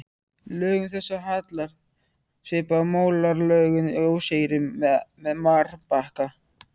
Lögum þessum hallar svipað og malarlögum í óseyri eða marbakka.